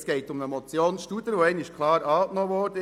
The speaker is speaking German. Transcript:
Es geht um eine Motion Studer, die klar angenommen wurde.